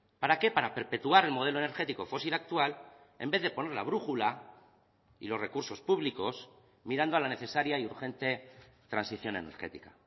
para qué para perpetuar el modelo energético fósil actual en vez de poner la brújula y los recursos públicos mirando a la necesaria y urgente transición energética